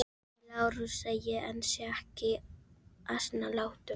Segið Lárusi að ég ansi ekki asnalátum.